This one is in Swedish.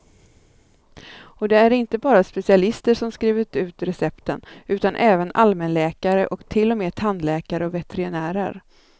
Och det är inte bara specialister som skrivit ut recepten, utan även allmänläkare och till och med tandläkare och veterinärer.